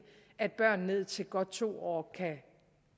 at børn ned til godt to år kan